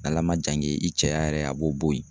Ala ma jan ke i cɛya yɛrɛ a b'o bo ye.